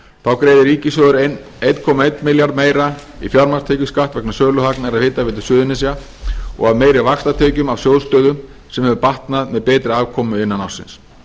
þá greiðir ríkissjóður einn komma einum milljarði meira í fjármagnstekjuskatt vegna söluhagnaðar af hitaveitu suðurnesja og af meiri vaxtatekjum af sjóð stöðu sem hefur batnað með betri afkomu innan ársins